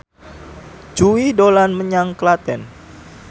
Jui dolan menyang Klaten